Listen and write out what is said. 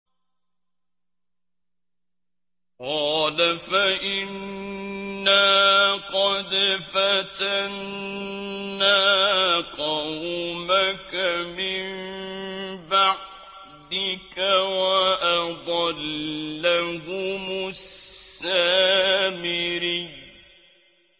قَالَ فَإِنَّا قَدْ فَتَنَّا قَوْمَكَ مِن بَعْدِكَ وَأَضَلَّهُمُ السَّامِرِيُّ